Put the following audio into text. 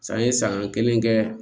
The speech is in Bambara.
San ye san kelen kɛ